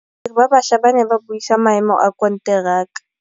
Badiri ba baša ba ne ba buisa maêmô a konteraka.